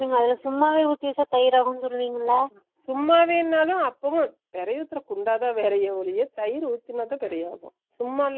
நீங்க அதுல சும்மாவே உத்தி வெச்ச தயிர் ஆகும் சொல்லுவீங்களா சும்மாவே நாலும் அப்பவும் பிறை உத்தி வெக்கற குண்டா தா வேற ஒழியதயிர் உத்துனா தா பிறை ஆகும் சும்மால ஆகாது